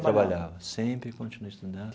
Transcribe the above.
Eu trabalhava, sempre continuei estudando.